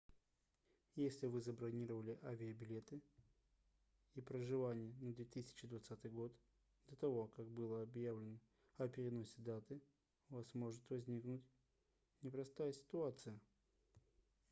если вы забронировали авиабилеты и проживание на 2020 год до того как было объявлено о переносе даты у вас может возникнуть непростая ситуация